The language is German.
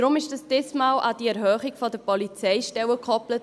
Darum wurde es diesmal an die Erhöhung der Polizeistellen gekoppelt.